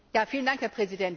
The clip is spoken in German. Herr Präsident!